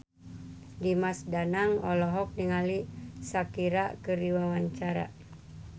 Dimas Danang olohok ningali Shakira keur diwawancara